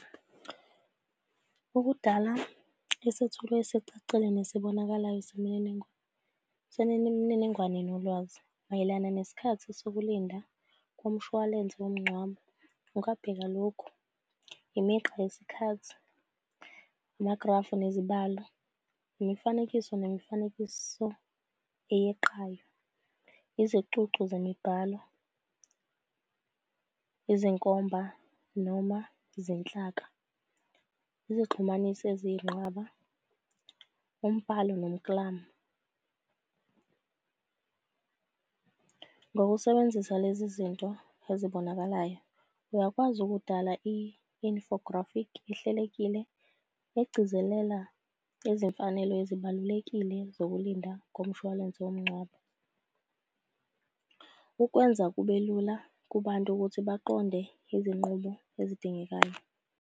Ukudala isethulo esicacile nesibonakalayo semininingwane, semininingwane nolwazi mayelana nesikhathi sokulinda komshwalense womngcwabo. Ungabheka lokhu, imigqa yesikhathi, amagrafu nezibalo, imifanekiso nemifanekiso eyeqayo, izicuncu zemibhalo, izinkomba noma izinhlaka, izixhumanisi eziyinqaba, umbhalo nomklamo. Ngokusebenzisa lezi zinto ezibonakalayo, uyakwazi ukudala i-infographic ehlelekile egcizelela izimfanelo ezibalulekile zokulinda komshwalense womngcwabo. Ukwenza kube lula kubantu ukuthi baqonde izinqubo ezidingekayo.